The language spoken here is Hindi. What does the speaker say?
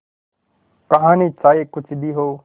कहानी चाहे कुछ भी हो